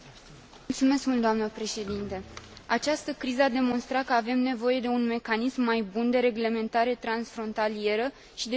Această criză a demonstrat că avem nevoie de un mecanism mai bun de reglementare transfrontalieră și de supraveghere a piețelor financiare.